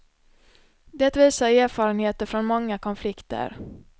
Det visar erfarenheter från många konflikter.